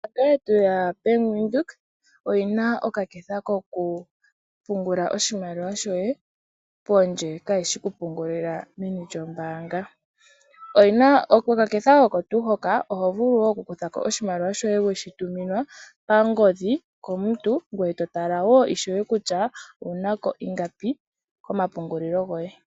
Ombaanga yetu yaBank Windhoek oyina oka ketha koku pungula oshimaliwa shoye pondje, kayi shi oku pungulila meni lyombaanga. Okaketha oko tuu hoka oho vulu wo oku kutha ko oshimaliwa shoye wshi tuminwa pangodhi komuntu, ngoye to tala wo ishewe kutya owuna ko ingapi komapungulilo goye.